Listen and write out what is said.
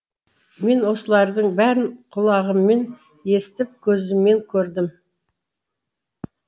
мен осылардың бәрін құлағыммен естіп көзіммен көрдім